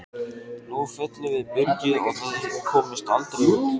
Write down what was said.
Nú fyllum við byrgið og þið komist aldrei út!